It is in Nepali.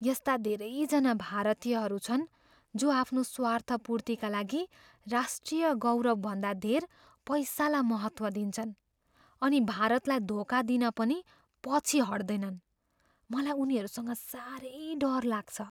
यस्ता धेरैजना भारतीयहरू छन् जो आफ्नो स्वार्थपूर्तिका लागि राष्ट्रिय गौरवभन्दा धेर पैसालाई महत्त्व दिन्छन् अनि भारतलाई धोका दिन पनि पछि हट्दैनन्। मलाई उनीहरूसँग साह्रै डर लाग्छ।